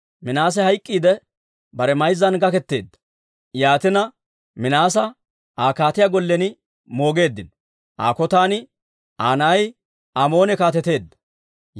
Minaase hayk'k'iidde, bare mayzzan gaketeedda; yaatina, Minaasa Aa kaatiyaa gollen moogeeddino. Aa kotan Aa na'ay Amoone kaateteedda.